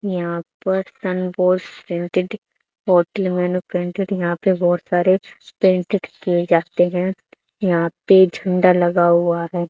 यहां पर यहां पे बहुत सारे पेंटेड किए जाते हैं यहां पे झंडा लगा हुआ है।